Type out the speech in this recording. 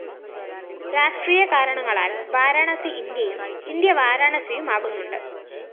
രാഷ്ട്രീയ കാരണങ്ങളാല്‍ വാരാണസി ഇന്ത്യയും ഇന്ത്യ വാരാണസിയുമാകുന്നുണ്ട്